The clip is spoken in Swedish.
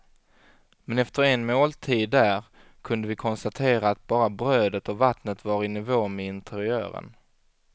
Men efter en måltid där kunde vi konstatera att bara brödet och vattnet var i nivå med interiören.